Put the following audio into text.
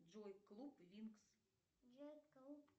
джой клуб винкс